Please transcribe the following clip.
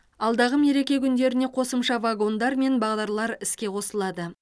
алдағы мереке күндеріне қосымша вагондар мен бағдарлар іске қосылады